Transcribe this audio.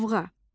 Lovğa.